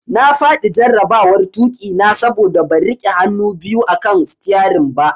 Na fadi jarabawar tuki na saboda ban rike hannu biyu akan sitiyarin ba.